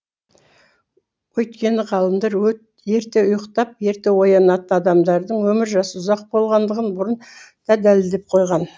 өйткені ғалымдар ерте ұйықтап ерте оянатын адамдардың өмір жасы ұзақ болатындығын бұрын да дәлелдеп қойған